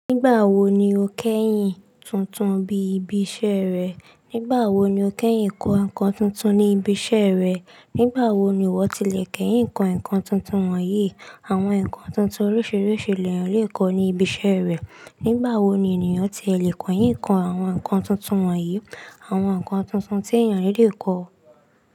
Nígbà wo ni o kẹ́yìn tuntun bí ibi iṣẹ́ rẹ? Nígbà wo ni o kẹ́yìn kọ nǹkan tuntun ní ibi iṣẹ́ rẹ? Nígbà wo ni ìwọ ti lè kẹ́yìn kọ nǹkan tuntun wọ̀nyí? Àwọn nǹkan tuntun oríṣiríṣi lè yàn le ko ni ibi iṣẹ́ rẹ. Nígbà wo ni ènìyàn ti e lè kọ yín kọ àwọn nǹkan tuntun wọ̀nyí, àwọn nǹkan tuntun tí èèyàn lè kọ.